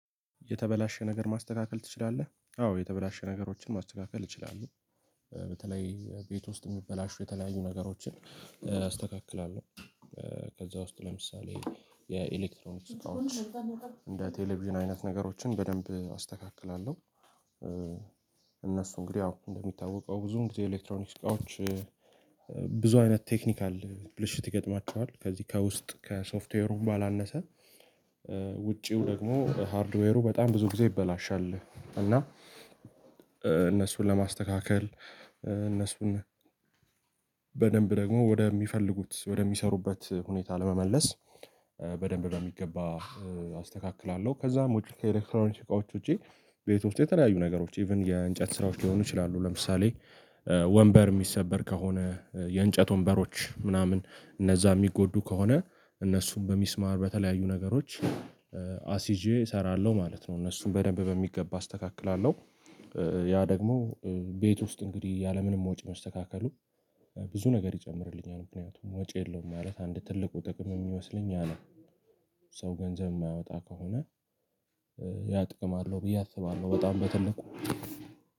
የተበላሸ ነገር ማስተካከል ትችላለህ? አዎ የተበላሸ ነገሮችን ማስተካከል እችላለሁ። በተለይ ቤት ውስጥ የሚበላሹ የተለያዩ ነገሮችን አስተካክላለሁ። ከዛ ውስጥ ለምሳሌ የኤሌክትሮኒክ እቃዎች እንደ ቴሌቪዥን አይነት ነገሮችን በደንብ አስተካክላለሁ። እነሱ እንግዲህ አዎ እንደሚታወቀው ብዙ እንግዲህ የኤሌክትሮኒክስ እቃዎች ብዙ አይነት ቴክኒካል ብልሽት ይገጥማቸዋል። ከዚህ ከውስጥ ከሶፍትዌሩ ባላነሰ ውጪው ደግሞ ሃርድዌሩ በጣም ብዙ ጊዜ ይበላሻል እና እነሱን ለማስተካከል እነሱን በደንብ ደግሞ ወደሚፈልጉት ወደሚሰሩበት ሁኔታ ለመመለስ በደንብ በሚገባ አስተካክላለሁ። ከዛም ውጪ ከኤሌክትሮኒክስ እቃዎች ውጪ ቤት ውስጥ የተለያዩ ነገሮች ኢቭን የእንጨት ስራዎች ሊሆኑ ይችላሉ ለምሳሌ ወንበር የሚሰበር ከሆነ የእንጨት ወንበሮች ምናምን እነዛ የሚጎዱ ከሆነ እነሱን በሚስማር በተለያዩ ነገሮች አስይዤ እሰራለሁ ማለት ነው። እነሱን በደንብ በሚገባ አስተካክላለሁ። ያ ደግሞ ቤት ውስጥ እንግዲህ ያለምንም ወጪ መስተካከሉ ብዙ ነገር ይጨምርልኛል። ምክንያቱም ወጪ የለውም ማለት አንድ ትልቁ ጥቅም የሚመስለኝ ያ ነው። ሰው ገንዘብ የማያወጣ ከሆነ ያ ጥቅማ አለው ብዬ አስባለሁ። በጣም በትልቁ